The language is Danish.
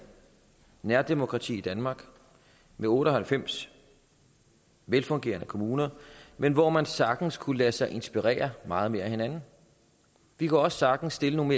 nærdemokrati i danmark med otte og halvfems velfungerende kommuner men hvor man sagtens kunne lade sig inspirere meget mere af hinanden vi kunne også sagtens stille nogle